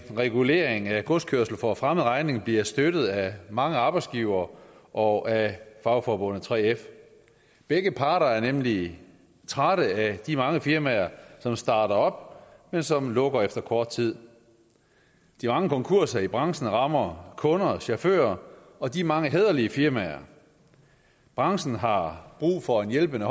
at en regulering af godskørsel for fremmed regning bliver støttet af mange arbejdsgivere og af fagforbundet 3f begge parter er nemlig trætte af de mange firmaer som starter op men som lukker efter kort tid de mange konkurser i branchen rammer kunder chauffører og de mange hæderlige firmaer branchen har brug for en hjælpende